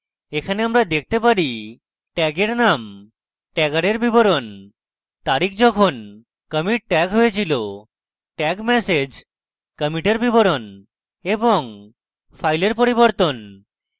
এখানে আমরা দেখতে পারি